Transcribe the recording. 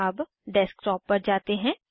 अब डेस्कटॉप पर जाते हैं